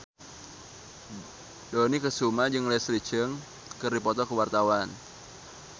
Dony Kesuma jeung Leslie Cheung keur dipoto ku wartawan